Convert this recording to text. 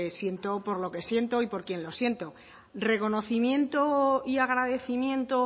siento por lo que siento y por quien lo siento reconocimiento y agradecimiento